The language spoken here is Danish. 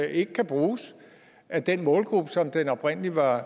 ikke kan bruges af den målgruppe som den oprindelig var